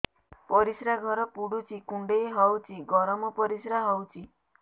ପରିସ୍ରା ଘର ପୁଡୁଚି କୁଣ୍ଡେଇ ହଉଚି ଗରମ ପରିସ୍ରା ହଉଚି